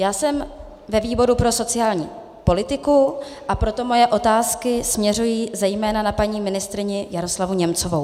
Já jsem ve výboru pro sociální politiku, a proto moje otázky směřují zejména na paní ministryni Jaroslavu Němcovou.